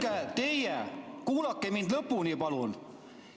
Kuulge teie, kuulake mind lõpuni, palun!